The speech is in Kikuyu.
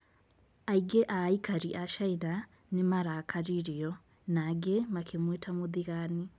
Aingĩ a aikari a Caina nĩ marakaririo , na angĩ makĩmwĩta mũthigani.